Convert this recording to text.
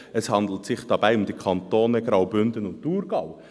Es handelt sich dabei um die Kantone Graubünden und Thurgau.